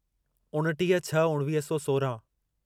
उणटीह छह उणिवीह सौ सोराहं